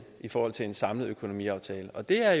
i forhold til en samlet økonomiaftale og det er